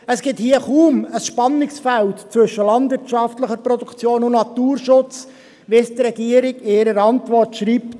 Es gibt hier kaum ein Spannungsfeld zwischen landwirtschaftlicher Produktion und Naturschutz, wie die Regierung in der Antwort schreibt.